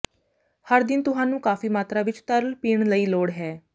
ਹਰ ਦਿਨ ਤੁਹਾਨੂੰ ਕਾਫ਼ੀ ਮਾਤਰਾ ਵਿੱਚ ਤਰਲ ਪੀਣ ਲਈ ਲੋੜ ਹੈ